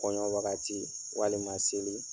Kɔɲɔn wagati walima seli